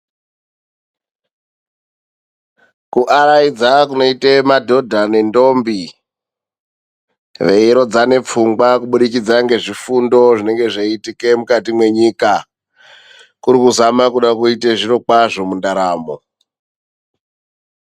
Kuaraidza kunoita madhodha nendombi, veirodzana pfungwa kubudikidza ngezvifundo zvinenge zveiitika mukati menyika. Kuri kuzama kuda kuite zviro kwazvo mundaramo.